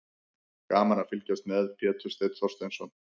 Gaman að fylgjast með: Pétur Steinn Þorsteinsson.